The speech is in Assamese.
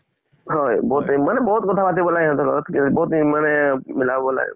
হয়, বিহুতে মানে বিহুত কথা পাতিব লাগে সিহঁতৰ লগত। বহুত মানে মিলাব লাগে।